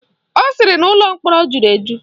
Ọ sịrị na ụlọ mkpọrọ jụrụ eju